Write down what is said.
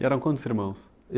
E eram quantos irmãos?